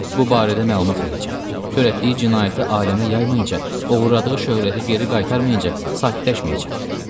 Bu barədə məlumat verəcəm, törətdiyi cinayəti aləmə yaymayınca, oğurladığı şöhrəti geri qaytarmayınca sakitləşməyəcəm.